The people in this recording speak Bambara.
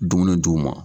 Dumuni d'u ma